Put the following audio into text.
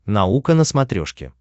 наука на смотрешке